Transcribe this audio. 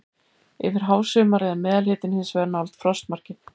Yfir hásumarið er meðalhitinn hins vegar nálægt frostmarki.